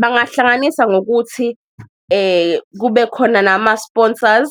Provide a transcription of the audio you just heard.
Bangahlanganisa ngokuthi kube khona nama-sponsors